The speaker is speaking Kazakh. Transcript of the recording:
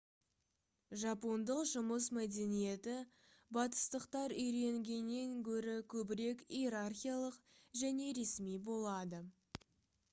жапондық жұмыс мәдениеті батыстықтар үйренгеннен гөрі көбірек иерархиялық және ресми болады